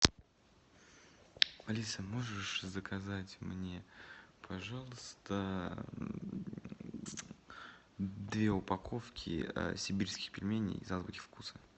алиса можешь заказать мне пожалуйста две упаковки сибирских пельменей из азбуки вкуса